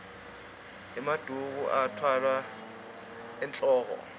emaduku atfwalwa enwoko